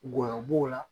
Gɔyɔ b'o la